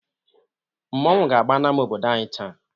Mmọnwụ ga-agba n'ámá obodo anyị taa.